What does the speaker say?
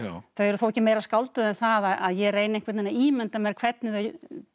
þau eru þó ekki meira skálduð en það að ég reyni að ímynda mér hvernig þau